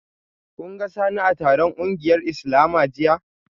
Kun ga Sani a taron kungiyar Islama jiya?